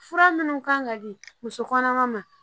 Fura minnu kan ka di muso kɔnɔma ma